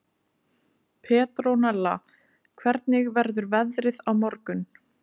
Petrónella, hvernig verður veðrið á morgun?